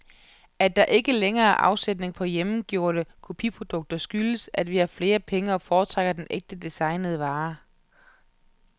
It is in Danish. At der ikke længere er afsætning på hjemmegjorte kopiprodukter skyldes, at vi har flere penge og foretrækker den ægte, designede vare.